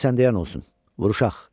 Qoy sənə yan olsun, vuruşaq.